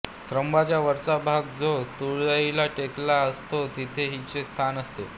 स्तंभाचा वरचा भाग जो तुळईला टेकलेला असतो तेथे हिचे स्थान असते